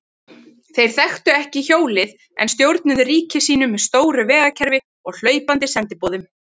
Þeir þekktu ekki hjólið en stjórnuðu ríki sínu með stóru vegakerfi og hlaupandi sendiboðum.